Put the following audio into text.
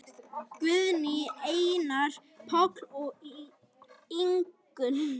Guðný, Einar, Páll og Ingunn.